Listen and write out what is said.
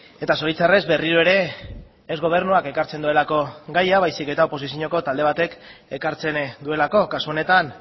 eta zoritxarrez berriro ere ez gobernuak ekartzen duelako gaia baizik eta oposizioko talde batek ekartzen duelako kasu honetan